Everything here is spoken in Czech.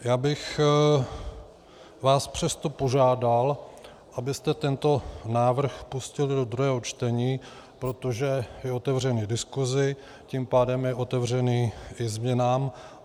Já bych vás přesto požádal, abyste tento návrh pustili do druhého čtení, protože je otevřený diskusi, tím pádem je otevřený i změnám.